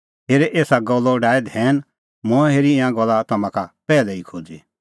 हेरे एसा गल्लो डाहै धैन मंऐं हेरी ईंयां गल्ला तम्हां का पैहलै ई खोज़ी